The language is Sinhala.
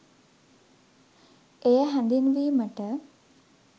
එය හැඳින්වීමට